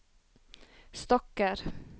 stokker